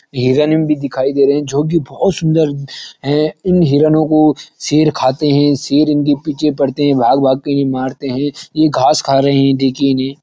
हिरण भी दिखाई दे रहें हैं जो की बहुत सुंदर हैं। इन हिरणों को शेर खाते हैं शेर इनके पीछे पड़ते हैं भाग-भाग के ये मारते हैं ये घास कहा रहें हैं देखिए इन्हें।